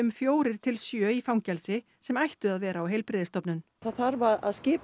fjórir til sjö í fangelsi sem ættu að vera á heilbrigðisstofnun það þarf að skipa